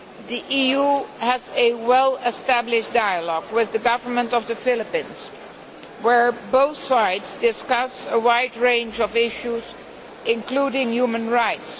The EU has a well established dialogue with the government of the Philippines where both sides discuss a wide range of issues, including human rights.